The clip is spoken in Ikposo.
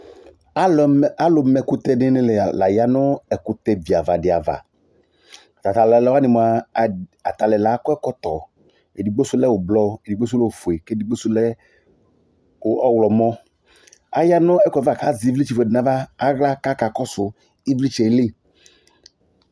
Alʋ ma ɛkʋtɛ dɩnɩ la ya nʋ ɛkʋtɛ viava dɩ ava, ata tʋ alʋ wanɩ mʋa, ata alʋ ɛla akɔ ɛkɔtɔ, edigbo sʋ lɛ ʋblɔ, edigbo sʋ lɛ ofue, kʋ edigbo sʋ lɛ ɔɣlɔmɔ, aya nʋ ɛkʋ yɛ ava kʋ azɛ ɩvlɩtsɛ fue dɩ nʋ aɣla kʋ akakɔsʋ ɩvlɩtsɛ yɛ li